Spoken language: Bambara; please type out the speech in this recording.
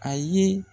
A ye